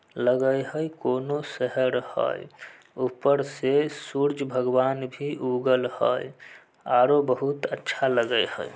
लगय हेय कोनो शहर हेय ऊपर से सुर्ज भगवान भी उगल हेयआरो बहुत अच्छा लगय हेय